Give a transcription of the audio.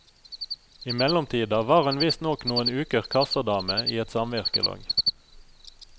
I mellomtida var hun visstnok noen uker kassadame i et samvirkelag.